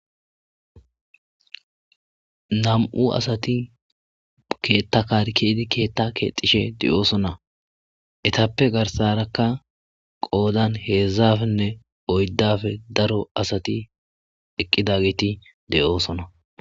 nam7u asati keetta kar keedi keetta keexishe deyoosona etappe garsarakka qoodan heedzdzafenne oyddafe daro asati eqqidageti deyoosona